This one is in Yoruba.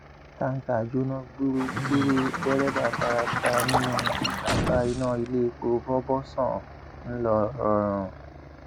tanka jóná gbúgbúrú dẹrẹbà fara pa nínú ìjàmbá iná iléepo vọbọsàn ńlọrọrìn